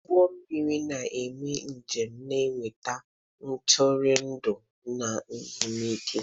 Ụgbọ mmiri na-eme njem na-eweta ntụrụndụ n'ezumike.